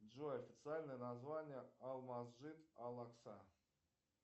джой официальное название алмазжит алакса